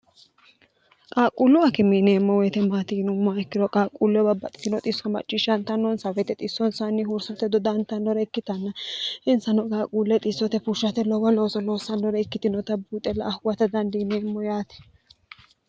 qaaqquullu akime yineemmo woyite maatiinummoa ikkiro qaaqquulle babbaxitino xisso macciishshantannonsa weyite xissonsanni huursate dodaantannore ikkitanna insano qaaquulle xissote fushshate lowo looso loossannore ikkitinota buuxena huwate la"a dandiiniemmo yaate